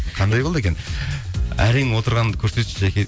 қандай қолды екен әрең отырғаныңды көрсетші жәке